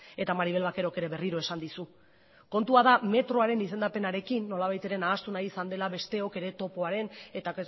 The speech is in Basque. eta maribel vaquerok ere berriro esan dizu kontua da metroaren izendapenarekin nolabait ere nahastu nahi izan dela besteok ere topoaren eta